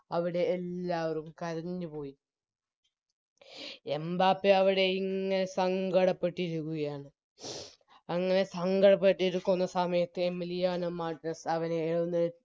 അവിടെ എല്ലാവരും കരഞ്ഞു പോയി എംബാപ്പയവിടെയിങ്ങനെ സങ്കടപ്പെട്ടിരിക്കുകയാണ് അങ്ങനെ സങ്കടപ്പെട്ടിരിക്കുന്ന സമയത്ത് എമിലിയാനോ മാർട്ടിനെസ്സ് അവരെ ഏഴ്